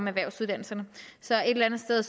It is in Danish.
erhvervsuddannelserne så et eller andet sted